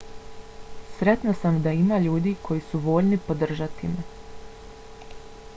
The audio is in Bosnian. sretna sam da ima ljudi koji su voljni podržati me